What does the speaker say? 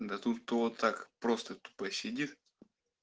да тут вот так просто тупо сидит